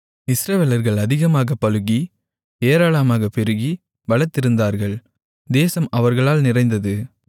இஸ்ரவேலர்கள் அதிகமாக பலுகி ஏராளமாகப் பெருகிப் பலத்திருந்தார்கள் தேசம் அவர்களால் நிறைந்தது